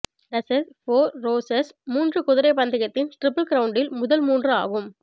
ரஸஸ் for roses மூன்று குதிரை பந்தயத்தின் டிரிபிள் கிரவுண்டில் முதல் மூன்று ஆகும்